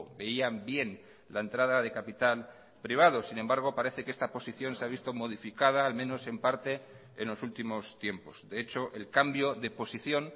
veían bien la entrada de capital privado sin embargo parece que esta posición se ha visto modificada al menos en parte en los últimos tiempos de hecho el cambio de posición